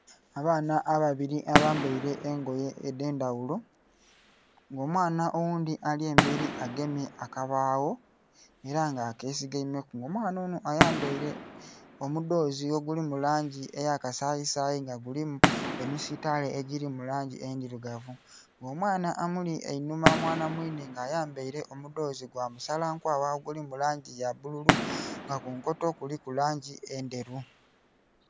Abaana ababiri abambeire engoye edhendhaghulo nga omwaana oghundhi alyemberi agemye akabagho era nga akesigemeku nga omwaana onho ayambeire omudhozi ogulimulangi eyakasayi sayi nga gulimu emisitale egiri mulangi endhilugavu nga omwaana amuli einhuma, mwaana mwinhe nga ayambeile omudhozi gwamusala nkwagha oguli mulangi yabbululu nga kunkoto kuliku langi endheru.